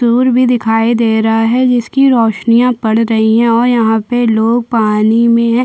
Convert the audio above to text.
सूर्य भी दिखाई दे रहा हैं जिसकी रैशनिया पड़ रही है और यहाँ पे लोग पानी में है।